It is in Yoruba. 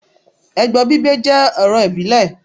Ẹbọ gbígbé jẹ́ ọrọ̀ ìbílẹ̀